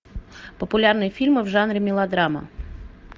популярные фильмы в жанре мелодрама